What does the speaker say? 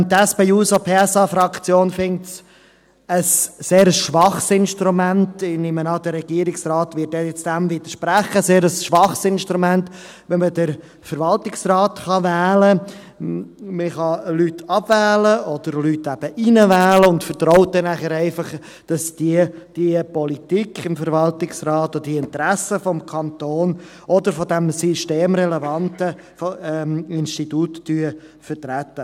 Die SP-JUSO-PSA-Fraktion erachtet es als sehr schwaches Instrument – ich nehme an, der Regierungsrat wird dem widersprechen –, wenn man den Verwaltungsrat wählen kann, Personen abwählen oder hineinwählen kann und darauf vertraut, dass die Politik des Verwaltungsrats die Interessen des Kantons oder des systemrelevanten Instituts vertritt.